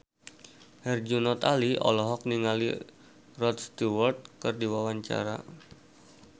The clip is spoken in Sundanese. Herjunot Ali olohok ningali Rod Stewart keur diwawancara